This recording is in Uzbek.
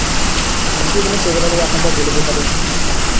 Rossiya bilan chegaralar yaqinida bo‘lib o‘tadi.